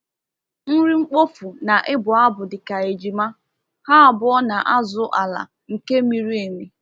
Nri mkpofu na ịbụ abụ dị ka ejima—ha abụọ na-azụ ala nke miri emi.